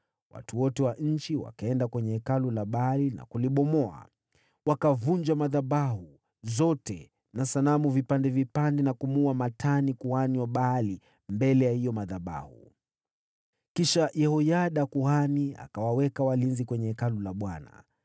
Watu wote wa nchi wakaenda kwenye hekalu la Baali na kulibomoa. Wakavunjavunja madhabahu na sanamu, na kumuua Matani kuhani wa Baali mbele ya hayo madhabahu. Kisha Yehoyada kuhani akawaweka walinzi kwenye Hekalu la Bwana .